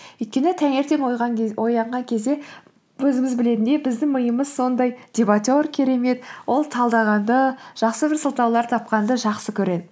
өйткені таңертең оянған кезде өзіміз білетіндей біздің миымыз сондай дебатер керемет ол талдағанды жақсы бір сылтаулар тапқанды жақсы көреді